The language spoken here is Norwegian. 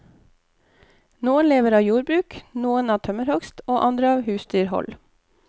Noen lever av jordbruk, noen av tømmerhogst, og andre av husdyrhold.